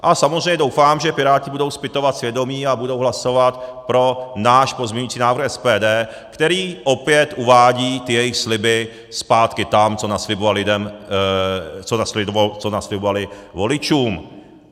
A samozřejmě doufám, že Piráti budou zpytovat svědomí a budou hlasovat pro náš pozměňovací návrh SPD, který opět uvádí ty jejich sliby zpátky tam, co naslibovali voličům.